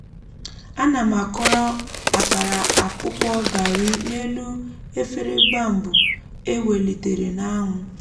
ana m akọrọ akara akpụkpọ garri n'elu efere bambụ e welitere n'anwụ.